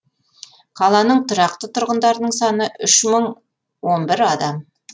қаланың тұрақты тұрғындарының саны үш мың он бір адам